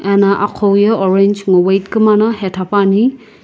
ena aqhouye orange ngo white kumana hetha puani.